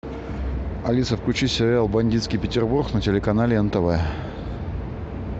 алиса включи сериал бандитский петербург на телеканале нтв